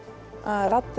raddir